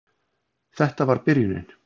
Þetta var byrjunin.